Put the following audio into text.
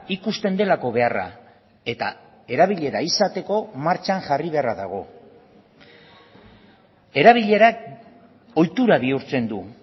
ikusten delako beharra eta erabilera izateko martxan jarri beharra dago erabilerak ohitura bihurtzen du